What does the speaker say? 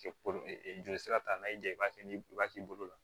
Joli sira ta n'a y'i ja i b'a kɛ ni waati bolo la